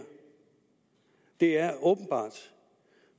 det er åbenbart